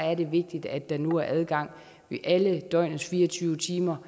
er det vigtigt at der nu er adgang i alle døgnets fire og tyve timer